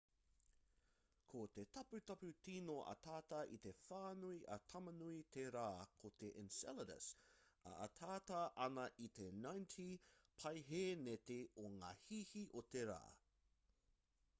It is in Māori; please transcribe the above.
ko te taputapu tīno atata i te whānui a tamanui te rā ko te enceladus e ataata ana i te 90 paehēneti o ngā hīhī o te rā